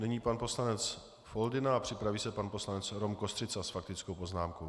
Nyní pan poslanec Foldyna a připraví se pan poslanec Rom Kostřica s faktickou poznámkou.